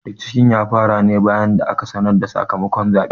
Rikicin ya fara ne bayan da aka sanar da sakamakon zaɓen.